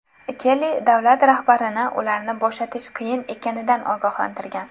Kelli davlat rahbarini ularni bo‘shatish qiyin ekanidan ogohlantirgan.